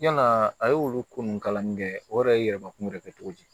Yalaa a ye olu ko ninnu kalanni kɛ o yɛrɛ ye yɛlɛmakun yɛrɛ kɛ cogo di